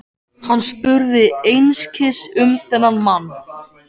Hann spurði einskis um þennan mann.